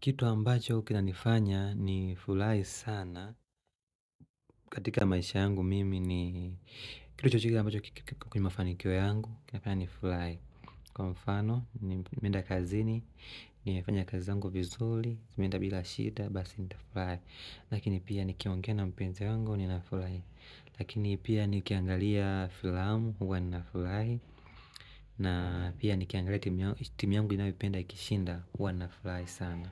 Kitu ambacho kinanifanya nifulai sana katika maisha yangu mimi ni Kitu chochote ambacho kina mafanikio yangu, kinafanya nifulai Kwa mfano, nimeenda kazini, nimefanya kazi zangu vizuli, zimeenda bila shida, basi nitafulai Lakini pia nikiongea na mpenzi wangu ninafulai Lakini pia nikiangalia filamu, huwa ninafulai na pia nikiangaria timu yangu ninayoipenda ikishinda huwa nafurahi sana.